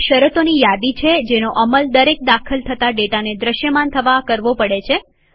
filter એ શરતોની યાદી છે જેનો અમલ દરેક દાખલ થતા ડેટાને દ્રશ્યમાન થવા કરવો પડે છે